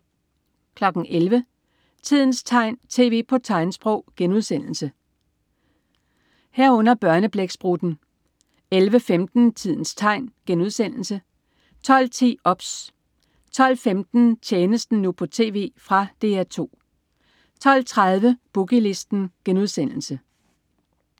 11.00 Tidens tegn, tv på tegnsprog* 11.00 Børneblæksprutten* 11.15 Tidens tegn* 12.10 OBS* 12.15 Tjenesten, nu på TV. Fra DR 2 12.30 Boogie Listen*